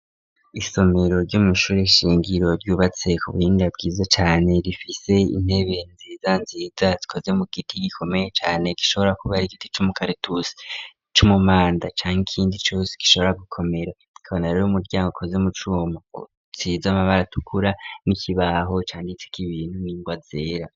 Isomero ry'umwishuri ishingiro ry'ubatse ku buhinga bwiza cane rifise intebe nziza nziza zikoze mu giti gikomeye cane gishobora kuba ari kiti c'umukaretusi c'umumanda cankindi gishobora gukomera kabona rero umuryango koze mu cuma gisize 'amabara tukura n'ikibaho canditse k'ibintu n'ingwa zera.